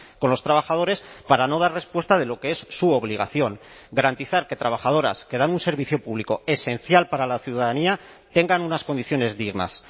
con los trabajadores para no dar respuesta de lo que es su obligación garantizar que trabajadoras que dan un servicio público esencial para la ciudadanía tengan unas condiciones dignas